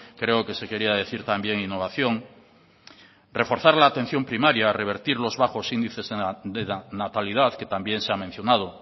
creo que se quería decir también innovación reforzar la atención primaria revertir los bajos índices de natalidad que también se ha mencionado